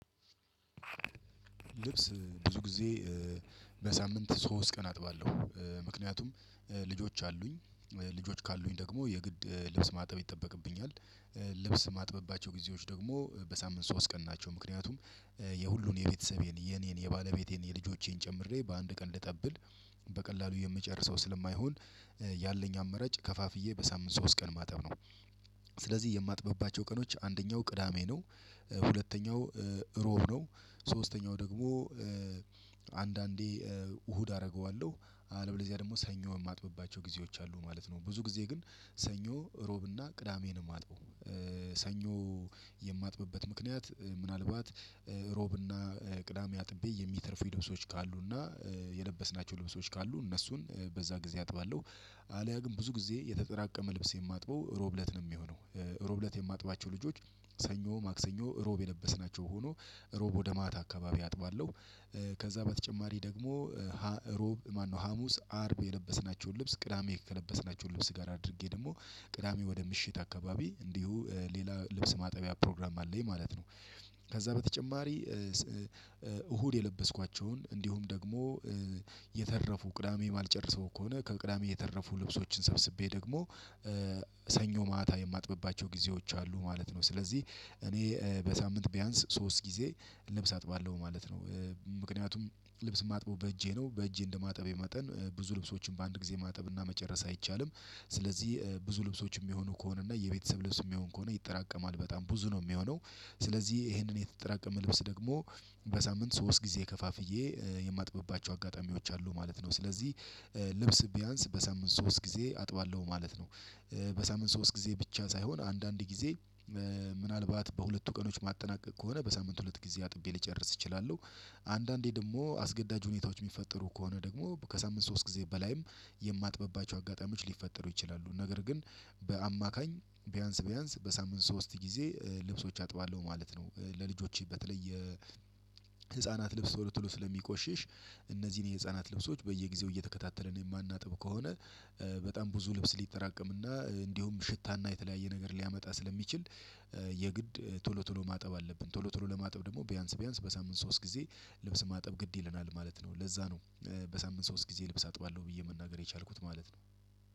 ልብስ ብዙ ጊዜ በሳምንት ሶስት ቀን አጥባለሁ። ምክንያቱም ልጆች አሉኝ ልጆች ካሉኝ ደግሞ የግድ ልብስ ማጠብ ይጠበቅብኛል። ልብስ ማጥበባቸው ጊዜዎች ደግሞ በሳምንት ሶስት ቀን ናቸው። ምክንያቱም የሁሉን የቤተሰቤን፤ የኔን፤ የባለቤቴን፤ የልጆቼን፤ ጨምሬ በአንድ ቀን ልጠብል በቀላሉ የምጨርሰው ስለማይሆን ያለኝ አመረጭ ከፋፍዬ በሳምንት ሶስት ቀን ማጠብ ነው። ስለዚህ የማጥበብባቸው ቀኖች አንደኛው ቅዳሜ፤ ነው ሁለተኛው ሮብ ነው፤ ሶስተኛው ደግሞ አንዳንዴ እሁድ አደርገዋለሁ፤ አለብለዚያ ደግሞ ሰኞ የማጥብባቸው ጊዜዎች አሉ ማለት ነው። ብዙ ጊዜ ግን ሰኞ ሮብና ቅዳሜን የማጥበው። ሰኞ የማጥብበት ምክንያት ምናልባት ሮብና ቅዳሜ አጥቤ የሚተርፉ ልብሶች ካሉና የለበስናቸው ልብሶች ካሉ እነሱን በዛ ጊዜ አጥባለሁ። አለያ ግን ብዙ ጊዜ የተጠራቀመ ልብስ የማጥበው ሮብለት ነው የሚሆነው። ሮብለት የማጥባቸው ልብሶች ሰኞ፤ ማክሰኞ፤ ሮብ የነበስናቸው ሆኖ ሮብ ወደ ማታ አካባቢ አጥባለሁ። ከዛ በተጨማሪ ደግሞ ሮብ ማነው ሀሙስ፤ አርብ፤ የለበስናቸውን ልብስ ቅዳሜ ከለበስናቸውን ልብስ ጋር አድርጌ ደግሞ ቅዳሜ ወደ ምሽት አካባቢ እንዲሁ ሌላ ልብስ ማጠቢያ ፕሮግራም አለኝ ማለት ነው። ከዛ በተጨማሪ እሁድ የለበስኳቸውን እንዲሁም ደግሞ የተረፉ ቅዳሜ የማልጨርሰው ከሆነ ከቅዳሜ የተረፉ ልብሶችን ሰብስቤ ደግሞ ሰኞ ማታ የማጥብባቸው ጊዜዎች አሉ ማለት ነው። ስለዚህ እኔ በሳምንት ቢያንስ ሶስት ጊዜ ልብስ አጥባለሁ ማለት ነው። ምክንያቱም ልብስ ማጥበው በእጄ ነው። በእጄ እንደማጠብ መጠን ብዙ ልብሶችን በአንድ ጊዜ ማጠብ እና መጨረስ አይቻልም። ስለዚህ ብዙ ልብሶችም የሚሆኑ ከሆነ እና የቤተሰብ ልብስም ከሆነ ይጠራቀማል በጣም ብዙ ነው የሚሆነው። ስለዚህ ይሄንን የተጠራቀመ ልብስ ደግሞ በሳምንት ሶስት ጊዜ ከፋፍዬ የማጥብባቸው አጋጣሚዎች አሉ ማለት ነው ስለዚህ። ልብስ ቢያንስ በሳምንት ሶስት ጊዜ አጥባለሁ ማለት ነው። በሳምንት ሶስት ጊዜ ብቻ ሳይሆን፤ አንዳንድ ጊዜ ምናልባት በሁለቱ ቀኖች ማጠናቀቅ ከሆነ በሳምንት ሁለት ጊዜ አጥቤ ልጨርስ እችላለሁ። አንዳንዴ ደግሞ አስገዳጅ ሁኔታዎች የሚፈጠሩ ከሆነ ደግሞ ከሳምንት ሶስት ጊዜ በላይም የማጥበባቸው አጋጣሚዎች ሊፈጠሩ ይችላሉ። ነገር ግን በአማካኝ ቢያንስ ቢያንስ በሳምንት ሶስት ጊዜ ልብሶች አጥባለሁ ማለት ነው። ለልጆቼ በተለየ ህፃናት ልብስ ቶሎትሎ ስለሚቆሽሽ እነዚህን የህፃናት ልብሶች በየጊዜው እየተከታተልን የማናጥብ ከሆነ በጣም ብዙ ልብስ ሊጠራቀም እና እንዲሁም ሽታና የተለያየ ነገር ሊያመጣ ስለሚችል የግድ ቶሎ ቶሎ ማጠብ አለብን። ቶሎ ቶሎ ለማጠብ ደግሞ ቢያንስ ቢያንስ በሳምንት ሶስት ጊዜ ልብስ ማጠብ ግድ ይለናል ማለት ነው። ለዛ ነው በሳምንት ሶስት ጊዜ ልብስ አጥባለሁ ብዬ መናገር የቻልኩት ማለት ነው።